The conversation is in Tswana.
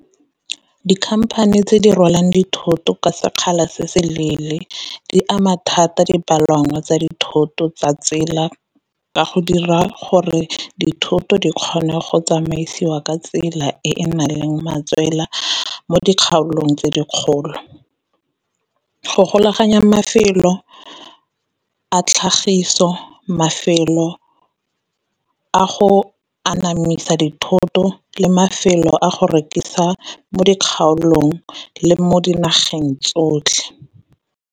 Dikhamphane tse di rwalang dithoto ka sekgala se se leele di ama thata dipalangwa tsa dithoto tsa tsela, ka go dira gore dithoto di kgone go tsamaisiwa ka tsela e e nang le matswela mo dikgaolong tse di kgolo. Go golaganya mafelo a tlhagiso, mafelo a go anamisa dithoto, le mafelo a go rekisa mo dikgaolong le mo dinageng tsotlhe.